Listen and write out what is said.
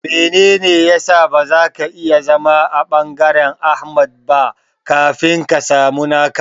Menene ya sa ba zaka iya zama a ɓangaren Ahmad ba kafin ka samu naka?